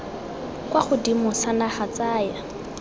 kwa godimo sa naga tsaya